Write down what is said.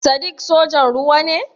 Sadiq sojan ruwa ne?